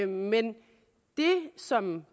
men det som